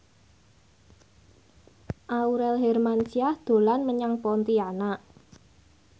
Aurel Hermansyah dolan menyang Pontianak